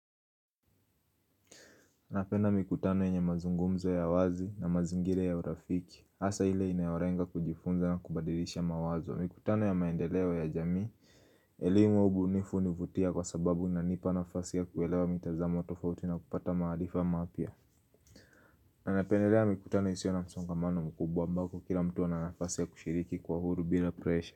Napenda mikutano yenye mazungumzo ya wazi na mazingira ya urafiki hasa ile inayolenga kujifunza na kubadilisha mawazo Mikutano ya maendeleo ya jamii elimu wa ubunifu hunivutia kwa sababu unanipa nafasi ya kuelewa mitazamo tofauti na kupata maarifa mapya napendelea mikutano isiyo na msongamano mkubwa ambapo kila mtu ana nafasi ya kushiriki kwa huru bila presha.